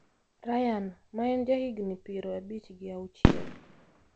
Ryan, ma en jahigni piero abich gi auchiel,